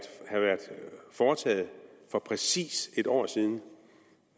foretaget for præcis en år siden